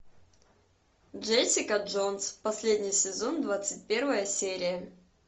джессика джонс последний сезон двадцать первая серия